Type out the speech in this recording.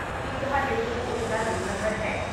ਕੀ ਤੁਹਾਡੇ ਕੋਲ ਉਸ ਦਾ ਰੋਲ ਨੰਬਰ ਹੈ?